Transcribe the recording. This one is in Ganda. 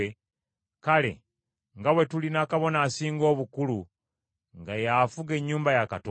kale nga bwe tulina Kabona Asinga Obukulu nga y’afuga ennyumba ya Katonda,